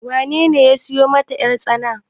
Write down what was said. wanene ya siyo masa yartsana?